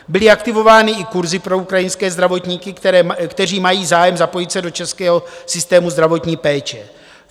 Byly aktivovány i kurzy pro ukrajinské zdravotníky, kteří mají zájem zapojit se do českého systému zdravotní péče.